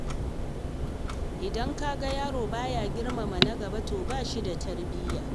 Idan ka ga yaro baya girmama na gaba, to ba shi da tarbiyya.